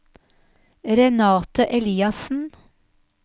Renate Eliassen